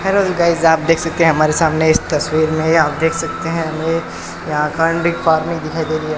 Hello guys आप देख सकते हैं हमारे सामने इस तस्वीर में आप देख सकते हैं हमे यहां पार्क नही दिखाई दे रही है।